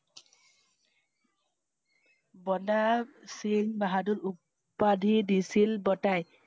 বন্দা~সিংহ বাহাদুৰ উ~পাধি দিছিল বতাই।